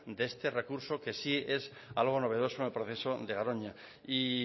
de este recurso que sí es algo novedoso en el proceso de garoña y